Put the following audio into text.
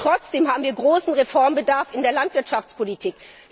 Aber trotzdem haben wir großen Reformbedarf in der Landwirtschaftspolitik.